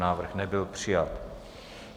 Návrh nebyl přijat.